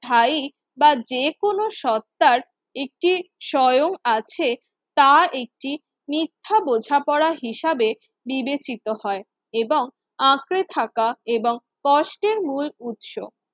High বা যে কোন সত্বার একটি স্বয়ং আছে। তা একটি মিথ্যা বোঝাপড়া হিসাবে বিবেচিত হয় এবং আঁকড়ে থাকা এবং কষ্টের মূল উৎস।